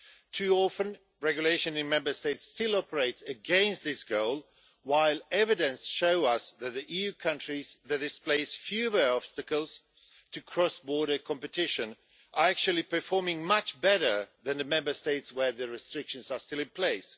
Too often, regulation in the Member States still operates against this goal, while the evidence shows us that the EU countries that have fewer obstacles to cross border competition are actually performing much better than the Member States where the restrictions are still in place.